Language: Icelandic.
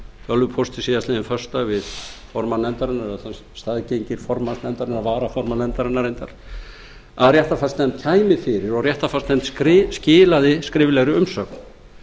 tölvupósti síðastliðinn föstudag við formann nefndarinnar að staðgengill formanns nefndarinnar varaformann nefndarinnar reyndar að réttarfarsnefnd kæmi fyrir og réttarfarsnefnd skilaði skriflegri umsögn